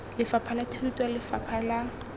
lefapha la thuto lefapha la